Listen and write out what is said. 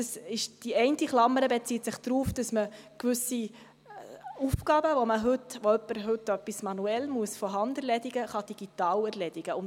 Die eine Klammer bezieht sich darauf, dass man gewisse Aufgaben, die heute jemand von Hand erledigen muss, digital erledigen kann.